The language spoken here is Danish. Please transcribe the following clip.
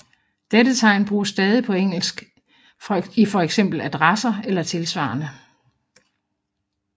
Dette tegn bruges stadig på engelsk i for eksempel adresser eller tilsvarende